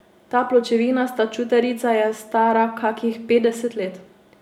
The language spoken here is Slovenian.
Ta pločevinasta čutarica je stara kakih petdeset let.